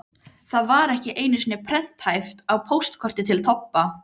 Það var ekki einu sinni prenthæft á póstkorti til Tobba.